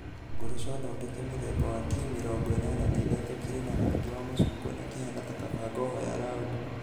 Ngoroco thondeke mũthemba wa T83 kĩrĩ na rangi wa macungwa na kĩhaana ta kabangoho ya raũdi.